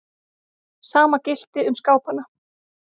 Sama gilti um skápana.